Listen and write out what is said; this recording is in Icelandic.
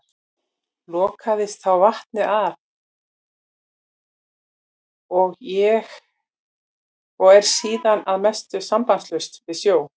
Lokaðist þá vatnið af og er síðan að mestu sambandslaust við sjó.